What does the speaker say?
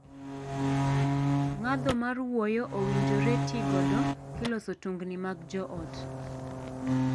Ngadho mar wuoyo owinjore tii godo kiloso tungni mag joot.